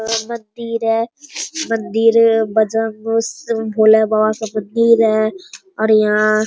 वहाँ मंदिर है मंदिर में बजरंग भोला बाबा का मंदिर है और यहाँ --